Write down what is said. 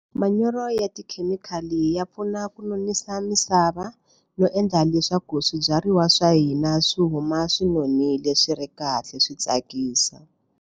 Manyoro ya tikhemikhali ya pfuna ku nonisa misava no endla leswaku swibyariwa swa hina swi huma swi nonile swi ri kahle swi tsakisa.